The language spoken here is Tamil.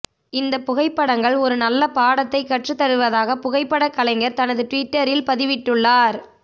இந்த புகைப்படங்கள் ஒரு நல்ல பாடத்தை கற்று தருவதாக புகைப்பட கலைஞர் தனது ட்விட்டரில் பதிவிட்டுள்ளார்